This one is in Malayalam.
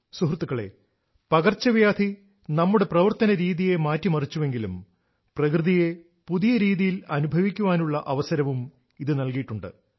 സുഹൃത്തുക്കളേ പകർച്ചവ്യാധി നമ്മുടെ പ്രവർത്തനരീതിയെ മാറ്റിമറിച്ചുവെങ്കിലും പ്രകൃതിയെ പുതിയ രീതിയിൽ അനുഭവിക്കാനുള്ള അവസരവും ഇത് നൽകിയിട്ടുണ്ട്